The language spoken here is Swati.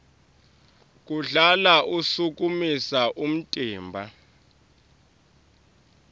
kuhlala ushukumisa umtimba